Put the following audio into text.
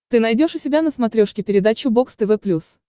ты найдешь у себя на смотрешке передачу бокс тв плюс